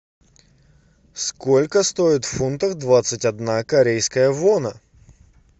сколько стоит в фунтах двадцать одна корейская вона